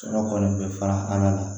Sɔrɔ kɔni bɛ fara an kan